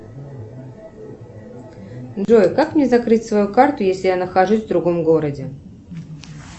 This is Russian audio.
джой как мне закрыть свою карту если я нахожусь в другом городе